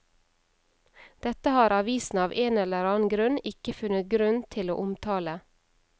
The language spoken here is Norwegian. Dette har avisen av en eller annen grunn ikke funnet grunn til å omtale.